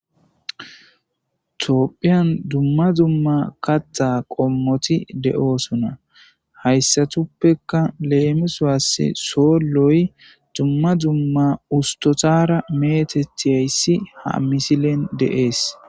tiophphiyan dumma dumma katta qommoti de'oosona hayssatuppeka leemisaass soolloy dumma dumma ustotara meetethiyayssi ha misilen de'ees